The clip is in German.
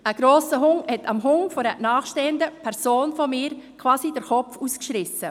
Ein grosser Hund hat einem Hund einer mir nahe stehenden Person quasi den Kopf ausgerissen.